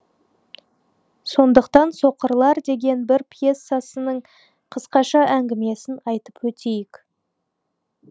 сондықтан соқырлар деген бір пьесасының қысқаша әңгімесін айтып өтейік